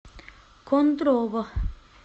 кондрово